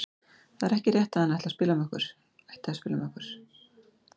Það er ekki rétt að hann ætti að spila með okkur.